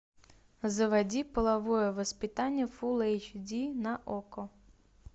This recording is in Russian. заводи половое воспитание фулл эйч ди на окко